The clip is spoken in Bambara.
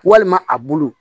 Walima a bulu